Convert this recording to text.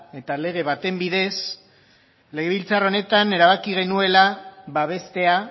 eta lege baten bidez legebiltzar honetan erabaki genuela babestea